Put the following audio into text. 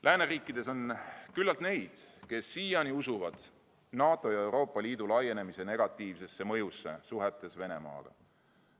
" Lääneriikides on küllalt neid, kes siiani usuvad NATO ja Euroopa Liidu laienemise negatiivsesse mõjusse suhetes Venemaaga.